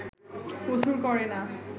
কসুর করে না